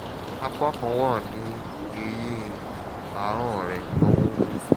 àpá kan wà ní ẹ̀yìn ahọ́n rẹ̀ tó ń wú